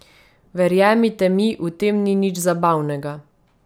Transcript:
Verjemite mi, v tem ni nič zabavnega.